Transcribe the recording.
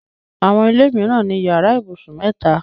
Àwọn ilé mìíràn ni yàrá ibùsùn mẹ́ta.